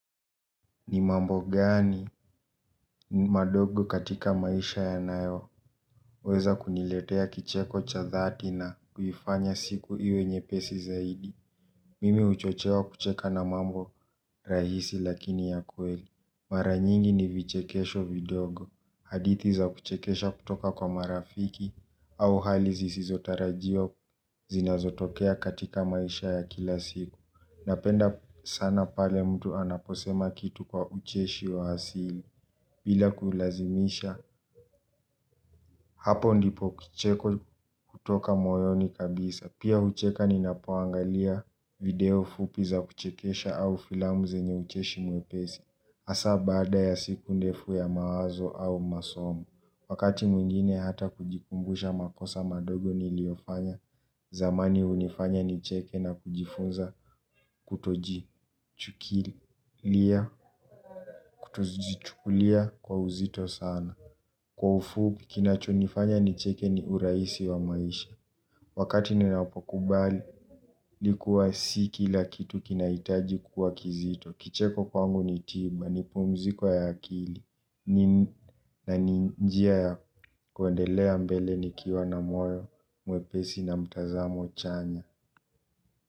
Ni mambo gani madogo katika maisha ya nayo weza kuniletea kicheko cha dhati na kuifanya siku iwe nyepesi zaidi. Mimi huchochewa kucheka na mambo rahisi lakini ya kweli. Mara nyingi ni vichekesho vidogo. Hadithi za kuchekesha kutoka kwa marafiki au hali zisizotarajiwa zinazotokea katika maisha ya kila siku napenda sana pale mtu anaposema kitu kwa ucheshi wa asili. Bila kulazimisha hapo ndipo kicheko kutoka moyoni kabisa. Pia hucheka ninapoangalia video fupi za kuchekesha au filamu zenye ucheshi mwepesi hasa bada ya siku ndefu ya mawazo au masomu. Wakati mwingine hata kujikumbusha makosa madogo niliyofanya. Zamani hunifanya nicheke na kujifunza kutojichukulia kwa uzito sana. Kwa ufupi kinacho nifanya nicheke ni urahisi wa maisha. Wakati ninapokubali ilikuwa si kila kitu kinahitaji kuwa kizito. Kicheko kwangu ni tiba, ni pumziko ya akili. Na ni njia ya kuendelea mbele nikiwa na moyo mwepesi na mtazamo chanya.